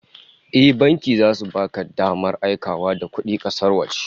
Eh, banki zasu baka damar aikawa da kudi kasar waje